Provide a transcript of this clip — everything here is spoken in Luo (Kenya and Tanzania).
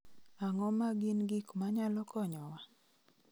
Ang�o ma gin gik ma nyalo konyowa?